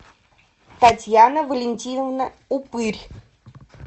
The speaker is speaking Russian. татьяна валентиновна упырь